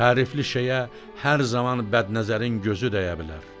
Tərifli şeyə hər zaman bədnəzərin gözü dəyə bilər.